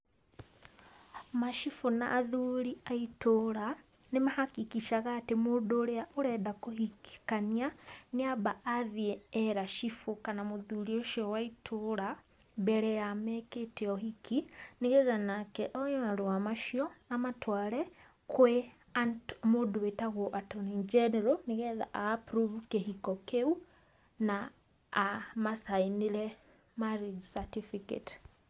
Macibũ na athuri a itũra nĩ ma hakikisha ga atĩ mũndũ ũrĩa ũrenda kũhikania nĩ amba athiĩ era cibũ kana mũthuri ũcio wa ĩtũra mbere ya mekĩte ũhiki, nĩgetha nake oe marũa macio amatware kwĩ mũndũ wĩtagwo attorney general nĩgetha a approve kĩhiko kĩu na ama sign ĩre marriage certificate.